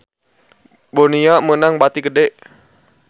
Bonia meunang bati gede